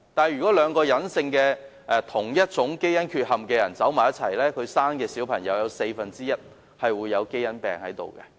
如果兩個有相同隱性基因缺憾的人結婚，他們所生的嬰孩有四分之一機會患上基因病。